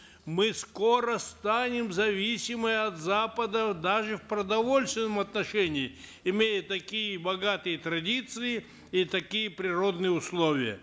мы скоро станем зависимы от запада даже в продовольственном отношении имея такие богатые традиции и такие природные условия